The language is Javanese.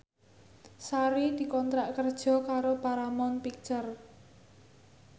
Sari dikontrak kerja karo Paramount Picture